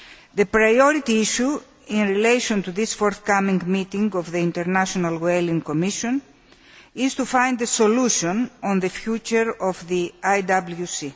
The priority issue in relation to this forthcoming meeting of the International Whaling Commission is to find a solution for the future of the IWC.